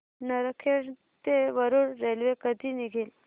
नरखेड ते वरुड रेल्वे कधी निघेल